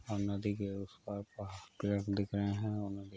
और नदी के उस पार पाह पेड़ दिख रहें हैं और नदी --